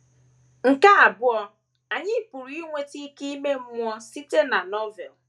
Nke abụọ, anyị pụrụ inweta ike ime mmụọ site na Novel.